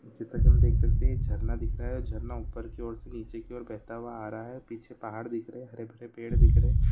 इस चित्र मे हम देख सकते है कि झरना दिख रहा है झरना ऊपर की ओर से नीचे की ओर बहता हुआ आ रहा है पीछे पहाड़ दिख रहे है हरे भरे पेड़ दिख रहे है।